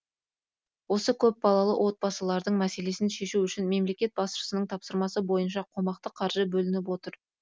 осы көпбалалы отбасылардың мәселесін шешу үшін мемлекет басшысының тапсырмасы бойынша қомақты қаржы бөлініп отыр